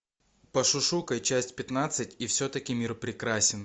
пошушукай часть пятнадцать и все таки мир прекрасен